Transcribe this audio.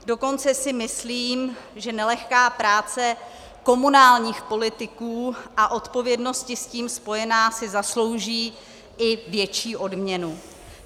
Dokonce si myslím, že nelehká práce komunálních politiků a odpovědnosti s tím spojené si zaslouží i větší odměnu.